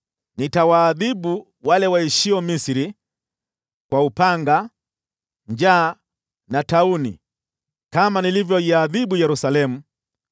Nitawaadhibu wale waishio Misri kwa upanga, njaa na tauni kama nilivyoiadhibu Yerusalemu.